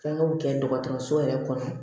Fɛnkɛw kɛ dɔgɔtɔrɔso yɛrɛ kɔnɔ